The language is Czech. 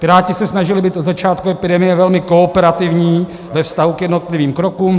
Piráti se snažili být od začátku epidemie velmi kooperativní ve vztahu k jednotlivým krokům.